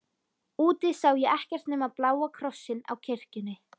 Úti sá ég ekkert nema bláa krossinn á kirkjunni.